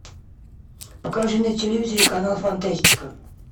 покажи на телевизоре канал фантастика